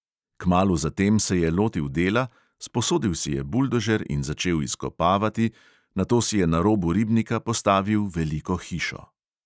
Kmalu za tem se je lotil dela, sposodil si je buldožer in začel izkopavati, nato si je na robu ribnika postavil veliko hišo.